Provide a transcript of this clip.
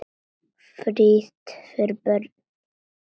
Frítt fyrir börn.